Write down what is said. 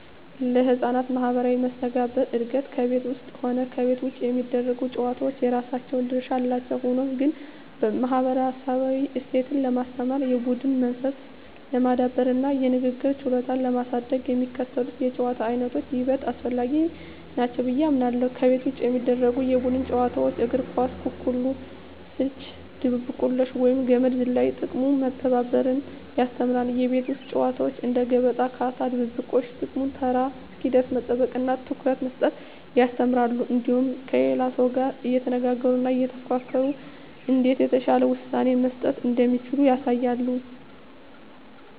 ለሕፃናት ማኅበራዊ መስተጋብር እድገት ከቤት ውስጥም ሆነ ከቤት ውጭ የሚደረጉ ጨዋታዎች የራሳቸው ድርሻ አላቸው። ሆኖም ግን፣ ማኅበረሰባዊ እሴትን ለማስተማር፣ የቡድን መንፈስን ለማዳበርና የንግግር ችሎታን ለማሳደግ የሚከተሉት የጨዋታ ዓይነቶች ይበልጥ አስፈላጊ ናቸው ብዬ አምናለሁ፦ ከቤት ውጭ የሚደረጉ የቡድን ጨዋታዎች እግር ኳስ፣ ኩኩሉ፣ ስልቻ ድብብቆሽ፣ ወይም ገመድ ዝላይ። ጥቅሙም መተባበርን ያስተምራሉ። የቤት ውስጥ ጨዋታዎች እንደ ገበጣ፣ ካርታ፣ ድብብቆሽ… ጥቅሙም ተራ እስኪደርስ መጠበቅንና ትኩረት መስጠትን ያስተምራሉ። እንዲሁም ከሌላው ሰው ጋር እየተነጋገሩና እየተፎካከሩ እንዴት የተሻለ ውሳኔ መስጠት እንደሚቻል ያሳያሉ።